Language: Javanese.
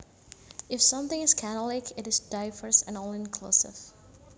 If something is catholic it is diverse and all inclusive